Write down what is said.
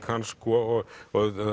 hans og